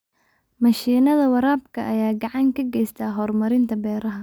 Mashiinnada waraabka ayaa gacan ka geysta horumarinta beeraha.